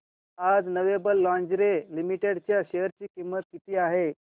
आज Lovable Lingerie Limited च्या share ची किंमत किती आहे